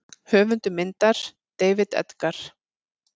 Höfundur myndar: David Edgar.